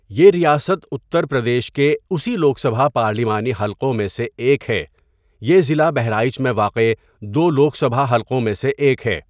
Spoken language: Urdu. یہ ریاست اترپردیش کے اسی لوک سبھا پارلیمانی حلقوں میں سے ایک ہے یہ ضلع بہرائچ میں واقع دو لوک سبھا حلقوں میں سے ایک ہے.